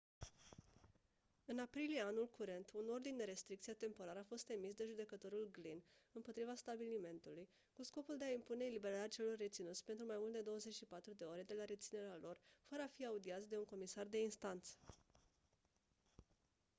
în aprilie anul curent un ordin de restricție temporar a fost emis de judecătorul glynn împotriva stabilimentului cu scopul de a impune eliberarea celor reținuți pentru mai mult de 24 de ore de la reținerea lor fără a fi audiați de un comisar de instanță